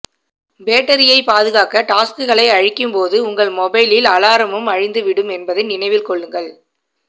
பேட்டரியை பாதுகாக்க டாஸ்க்களை அழிக்கும் போது உங்க மொபைலில் அலாரமும் அழிந்து விடும் என்பதை நினைவில் கொள்ளுங்கள்